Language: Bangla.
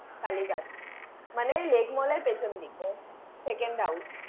কালীঘাট। মানে Lake Mall এর পেছন দিকে Second House ।